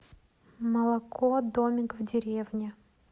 молоко домик в деревне